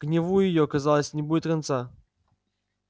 гневу её казалось не будет конца